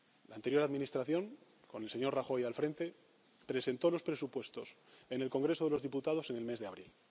La anterior administración, con el señor Rajoy al frente, presentó los presupuestos en el Congreso de los Diputados en el mes de abril.